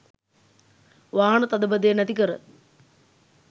වාහන තදබදය නැතිකර